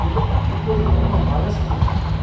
تیٚلہِ كرنہٕ بہٕ یہِ كُنہِ حالس منز اتھہٕ ۔